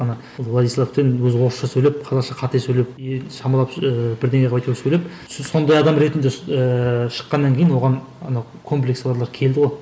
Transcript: ана владислав тен өзі орысша сөйлеп қазақша қате сөйлеп шамалап ыыы бірдеңе қылып сөйлеп сондай адам ретінде ііі шыққаннан кейін оған ана комплексі барлар келді ғой